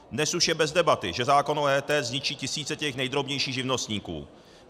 Dnes už je bez debaty, že zákon o EET zničí tisíce těch nejdrobnějších živnostníků.